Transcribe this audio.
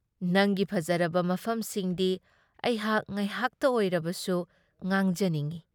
ꯅꯪꯒꯤ ꯐꯖꯔꯕ ꯃꯐꯝꯁꯤꯡꯗꯤ ꯑꯩꯍꯥꯛ ꯉꯥꯏꯍꯥꯛꯇ ꯑꯣꯏꯔꯕꯁꯨ ꯉꯥꯡꯖꯅꯤꯡꯢ ꯫